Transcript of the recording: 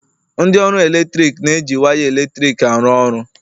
ndị ọrụ eletrik na-eji waya eletrik arụ ọrụ